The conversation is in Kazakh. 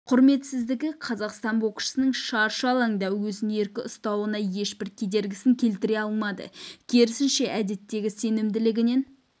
құрметсіздігі қазақстандық боксшының шаршы алаңда өзін еркін ұстауына ешбір кедергісін келтіре алмады керісінше әдеттегі сенімділігінен